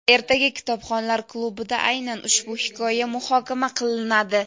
Ertaga Kitobxonlar klub’ida aynan ushbu hikoya muhokama qilinadi.